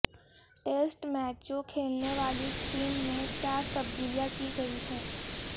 test میچوں کھیلنے والی ٹیم میں چار تبدیلیاں کی گئی ہیں